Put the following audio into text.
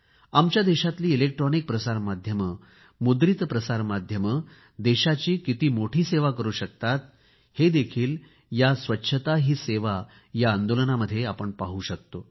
आमच्या देशातली इलेक्ट्रॉनिक प्रसार माध्यमे मुद्रित प्रसार माध्यमे देशाची किती मोठी सेवा करू शकतात हे या स्वच्छता ही सेवा आंदोलनामध्ये आपण पाहू शकतो